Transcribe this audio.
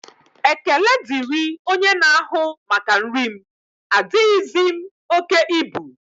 Ekele diri onye na-ahụ maka nri m, adighizi m oke ibu